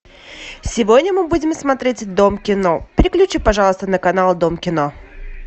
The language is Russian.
сегодня мы будем смотреть дом кино переключи пожалуйста на канал дом кино